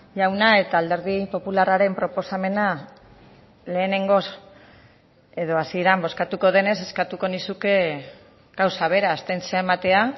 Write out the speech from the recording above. jauna eta alderdi popularraren proposamena lehenengoz edo hasieran bozkatuko denez eskatuko nizuke gauza bera abstentzioa ematea